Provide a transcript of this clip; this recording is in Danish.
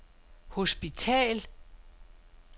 hospital